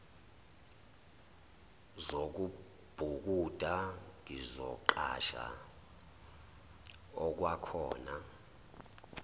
zokubhukuda ngizoqhasha okwakhona